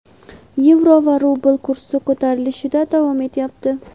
yevro va rubl kursi ko‘tarilishda davom etyapti.